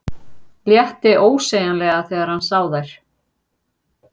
Létti ósegjanlega þegar hann sá þær.